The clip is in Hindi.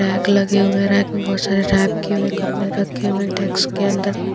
रैक लगे हुए हैं रैक में बहुत सारे रैप किए हुए कपड़े रखे हुए हैं टैक्स के अंदर --